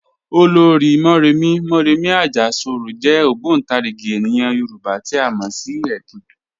Ọlọ́rì̀ Mọ̀remí (Mọ̀remí Àjàṣorò) jẹ̀ ogbontarigi ènìyàn Yorùbá tí a mọ sí ẹ̀kìn."